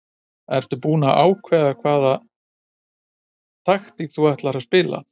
Ertu búinn að ákveða hvaða taktík þú ætlar að spila?